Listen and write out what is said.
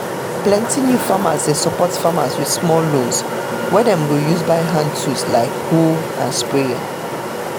plenty new farmers dey support farmers with small loans wey dem go use buy hand tools like hoe and sprayer